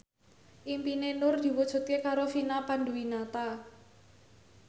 impine Nur diwujudke karo Vina Panduwinata